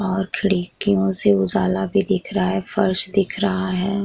और खिड़कियों से उजाला भी दिख रहा है फ़र्श दिख रहा है।